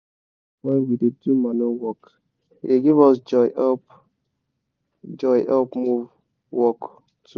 we da clap wen we da do manure work e da give us joy help joy help move work too